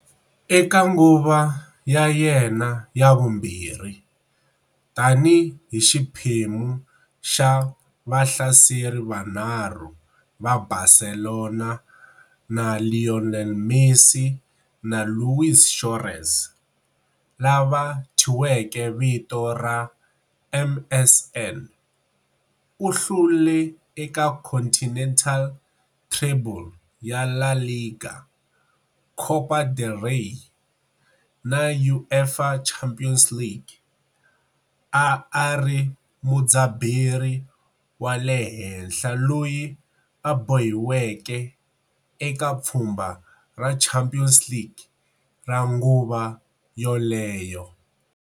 Eka nguva ya yena ya vumbirhi, tani hi xiphemu xa vahlaseri vanharhu va Barcelona na Lionel Messi na Luis Suárez, lava thyiweke vito ra MSN, u hlule eka continental treble ya La Liga, Copa del Rey, na UEFA Champions League, a a ri mudzaberi wa le henhla loyi a bohiweke eka pfhumba ra Champions League ra nguva yoleyo.